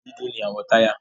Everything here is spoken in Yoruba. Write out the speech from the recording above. Dúdú ni àwọ̀ táyà.